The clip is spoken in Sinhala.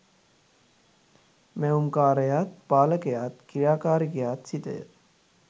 මැවුම්කාරයාත්, පාලකයාත්, ක්‍රියාකාරිකයාත් සිතය.